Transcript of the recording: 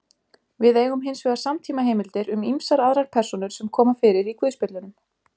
Við eigum hins vegar samtímaheimildir um ýmsar aðrar persónur sem koma fyrir í guðspjöllunum.